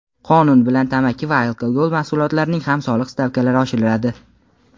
Qonun bilan tamaki va alkogol mahsulotlarining ham soliq stavkalari oshiriladi.